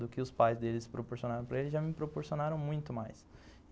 Do que os pais deles proporcionaram para ele, já me proporcionaram muito mais.